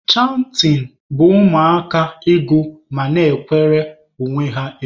Chantịn bụ ụmụaka ịgụ ma na-ekwere onwe ha egwu.